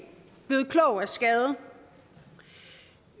blevet klog af skade